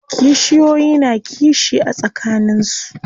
Kishiyoyi na kishi a tsakanin su.